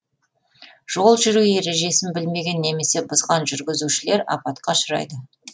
жол жүру ережесін білмеген немесе бұзған жүргізушілер апатқа ұшырайды